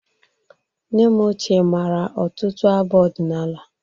Nne m ochie mara ọtụtụ abụ ọdịnala.